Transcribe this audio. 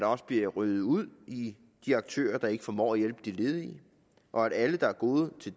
også bliver ryddet ud i de aktører der ikke formår at hjælpe de ledige og at alle der er gode til